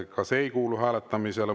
Ka see ei kuulu hääletamisele.